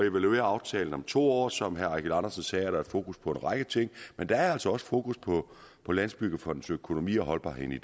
evaluere aftalen om to år som herre eigil andersen sagde er der fokus på en række ting men der er altså også fokus på på landsbyggefondens økonomi og holdbarheden i